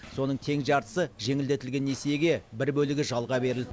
соның тең жартысы жеңілдетілген несиеге бір бөлігі жалға берілді